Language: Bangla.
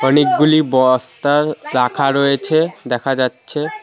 অনেকগুলি বস্তা রাখা রয়েছে দেখা যাচ্ছে।